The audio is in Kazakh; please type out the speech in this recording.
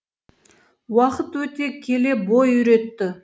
уақыт өте келе бой үйретті